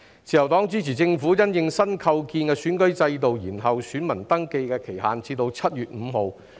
自由黨支持政府因應新構建的選舉制度，延後選民登記的期限至7月5日。